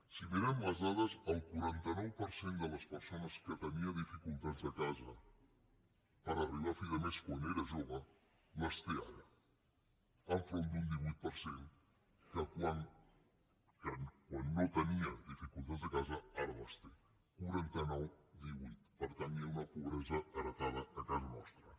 si mirem les dades el quaranta nou per cent de les persones que tenia dificultats a casa per arribar a fi de mes quan era jove les té ara enfront d’un divuit per cent que quan no tenia dificultats a casa ara les té quaranta nou divuit per tant hi ha una pobresa heretada a casa nostra